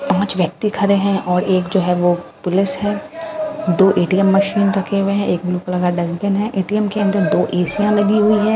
पाँच व्यक्ति खड़े है और एक जो है वो पुलिस है दो ए_टी_एम मशीन रखे हुए है एक ब्लू कलर का डस्टबिन है ए_टी_एम के अंदर दो एसिया लगी हुई है --